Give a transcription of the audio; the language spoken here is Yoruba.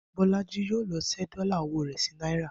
Bó̩̩lájí yóò lo̩ s̩é̩ dó̩là o̩wó̩ rè̩ sí náírà